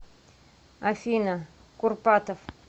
афина курпатов